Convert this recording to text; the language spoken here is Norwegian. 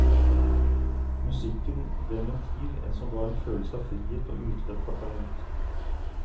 Musikken ble en ventil, en som ga en følelse av frihet og utløp for talent.